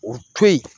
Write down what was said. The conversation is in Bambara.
O to yen